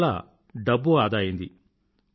అందువల్ల డబ్బు ఆదా అయింది